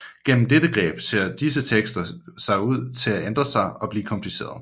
Gennem dette greb ser disse tekster ser ud til at ændre sig og blive komplicerede